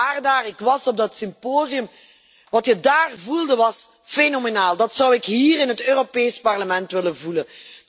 Wij waren daar, ik was op dat symposium. Wat je daar voelde was fenomenaal. Dát zou ik hier in het Europees Parlement willen voelen.